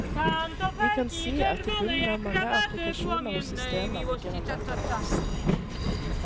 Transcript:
Vi kan si at i bunnen av mange applikasjoner og systemer ligger en database.